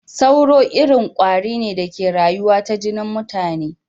Tsoro irin kwari da ke rayu ta jinin mutane ne.